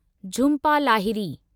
Jhumpa Lahiri